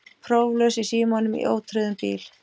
Próflaus í símanum í ótryggðum bíl